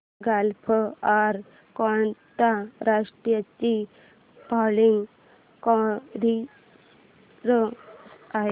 gulf Air कोणत्या राष्ट्राची flag carrier आहे